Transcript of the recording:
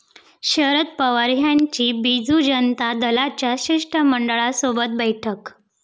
शरद पवार यांची बीजू जनता दलाच्या शिष्टमंडळासोबत बैठक